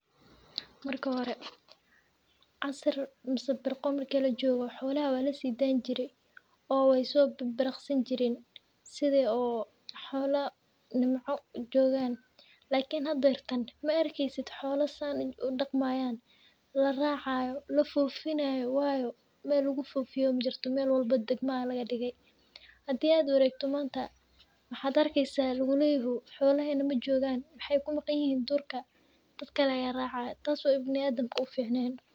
Marka hore casir mase birqa marki lajogo xolaha weyso bir birqi jire lakin hada maakeysid maxaa tele meel walbo degma aya laga dige tas oo ibni adanka u ficnen xolaha durka aya lageynaya dad kale aya racaya.